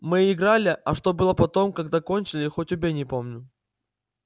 мы играли а что было потом когда кончили хоть убей не помню